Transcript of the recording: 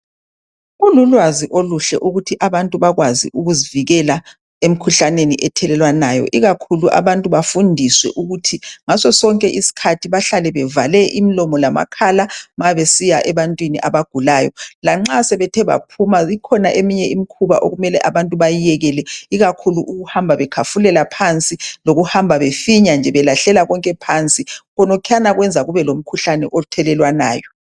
Kululwazi oluhle ukuthi abantu bakwazi ukuzivikela emikhuhlaneni ethelelwanayo ikakhulu abantu bafundiswe ukuhlala bevale imilomo lamakhala ma besiya ebantwini abagulayo. Lanxa sebethe baphuma kukhona imikhuba okumele bayekele ikakhulu ukuhamba bekhafulela phansi njalo befinya nje belahlela konke phansi okwenza kube lemikhuhlane ethelelwanayo